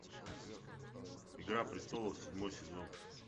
игра престолов седьмой сезон